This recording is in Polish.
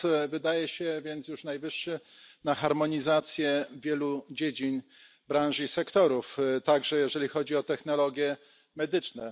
Wydaje się więc, że jest już najwyższy czas na harmonizację wielu dziedzin, branż i sektorów, także jeżeli chodzi o technologie medyczne.